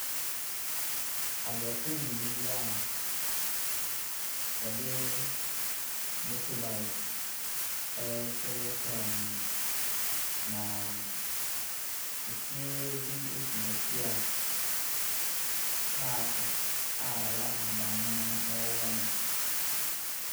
Aborɔfo mmienu bi a wɔde motorbike rehyɛ kaa mu, na efie bi si n'akyi a paake a ɛyɛ ahaban mono wɔ hɔnom.